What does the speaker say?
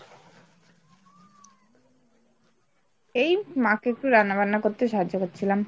এই মাকে একটু রান্না বান্না করতে সাহায্য করছিলাম।